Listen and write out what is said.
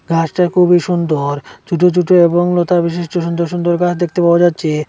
ঘাসটা খুবই সুন্দর ছুটো ছুটো এবং লতা বিশিষ্ট সুন্দর সুন্দর ঘাস দেখতে পাওয়া যাচ্ছে।